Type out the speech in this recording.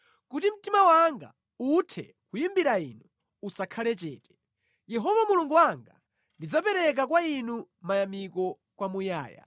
kuti mtima wanga uthe kuyimbira Inu usakhale chete. Yehova Mulungu wanga, ndidzapereka kwa Inu mayamiko kwamuyaya.